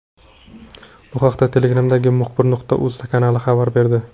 Bu haqda Telegram’dagi Muxbir.uz kanali xabar berdi .